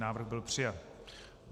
Návrh byl přijat.